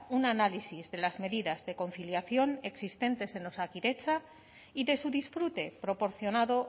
un análisis de las medidas de conciliación existentes en osakidetza y de su disfrute proporcionado